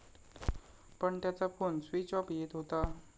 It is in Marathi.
पण त्याचा फोन स्वीच ऑफ येत होता.